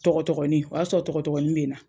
Tɔgɔtɔgɔnin, o y'a sɔrɔ tɔgɔtɔgɔnin bɛ na.